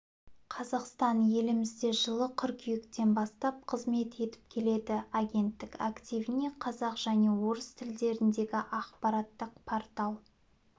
қазақстан елімізде жылы қыркүйектен бастап қызмет етіп келеді агенттік активіне қазақ және орыс тілдеріндегі ақпараттық портал